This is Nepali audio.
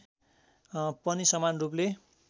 पनि समान रूपले